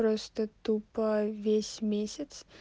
просто тупо весь месяц